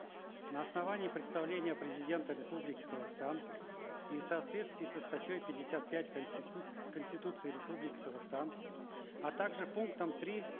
на основании представления президента республики казахстан и в соответствии со статьей пятьдесят пять конституции республики казахстан а также пунктом три